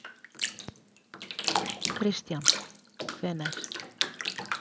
Kristján: Hvenær?